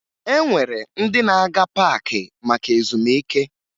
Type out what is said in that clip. E nwere ndị na-aga paakị maka ezumike